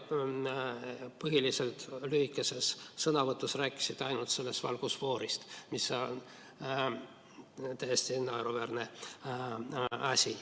Oma lühikeses sõnavõtus rääkisite põhiliselt ainult valgusfoorist, mis on täiesti naeruväärne asi.